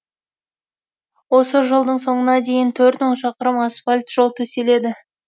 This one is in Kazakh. осы жылдың соңына дейін төрт мың шақырым асфальт жол төселеді